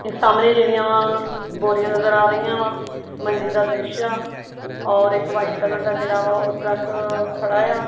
ਤੇ ਸਾਹਮਣੇ ਜਿਹੜੀਆਂ ਬੋਰੀਆਂ ਨਜ਼ਰ ਆ ਰਹੀਆਂ ਵਾ ਮੰਦਿਰ ਦਾ ਦ੍ਰਿਸ਼ ਆ ਔਰ ਇੱਕ ਵਾਈਟ ਕਲਰ ਦਾ ਜਿਹੜਾ ਵਾ ਉਹ ਟਰੱਕ ਖੜਾ ਆ।